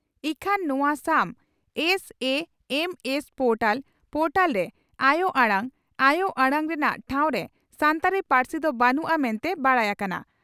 ᱤᱠᱷᱟᱹᱱ ᱱᱚᱣᱟ ᱥᱟᱢ (S A M S portal ) portal ᱨᱮ ᱟᱭᱚ ᱟᱲᱟᱝ ( ᱟᱭᱚ ᱟᱲᱟᱝ ) ᱨᱮᱱᱟᱜ ᱴᱷᱟᱣᱨᱮ ᱥᱟᱱᱛᱟᱲᱤ ᱯᱟᱹᱨᱥᱤ ᱫᱚ ᱵᱟᱹᱱᱩᱜᱼᱟ ᱢᱮᱱᱛᱮ ᱵᱟᱰᱟᱭ ᱟᱠᱟᱱᱟ ᱾